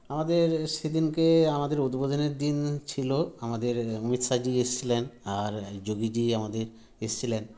আমাদের সেদিনকে আমাদের উদ্বোধনের দিন ছিল আমাদের অমিত শাহজি এসছিলেন আর যোগীজি আমাদের এসছিলেন